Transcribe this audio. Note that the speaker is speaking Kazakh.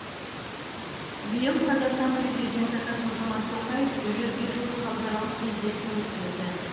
биыл қазақстан президенті қасым жомарт тоқаев жүзге жуық халықаралық кездесу өткізді